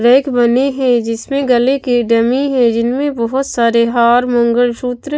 rake बने हैं जिसमें गले की डमी है जिनमें बहोत सारे हार मंगलसूत्र--